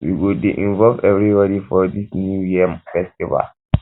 we go dey involve everybody for dis new yam festival